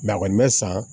a kɔni bɛ san